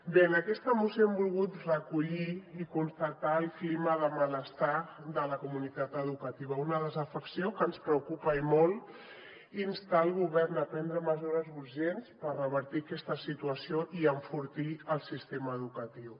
bé en aquesta moció hem volgut recollir i constatar el clima de malestar de la comunitat educativa una desafecció que ens preocupa i molt i instar el govern a prendre mesures urgents per revertir aquesta situació i enfortir el sistema educatiu